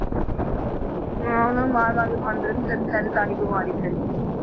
ਹਾਂ ਉਹਨਾਂ ਨੂੰ ਮਾਰ ਮਾਰ ਕੇ ਖਾਂਦੇ ਰਹਿੰਦੇ ਤਾਂ ਹੀ ਬਿਮਾਰੀ ਫੈਲੀ ਹੈ।